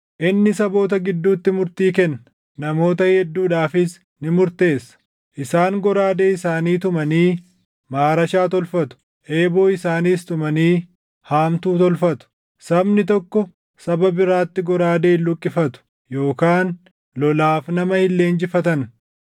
Inni saboota gidduutti murtii kenna; namoota hedduudhaafis ni murteessa. Isaan goraadee isaanii tumanii maarashaa tolfatu; eeboo isaaniis tumanii haamtuu tolfatu. Sabni tokko saba biraatti goraadee hin luqqifatu; yookaan lolaaf nama hin leenjifatan.